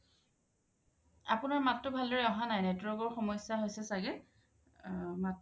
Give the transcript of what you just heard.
আপুনাৰ মাতটো ভাল্দৰে অহা নাই network ৰ সমস্যা হৈছে চাগে আ মাত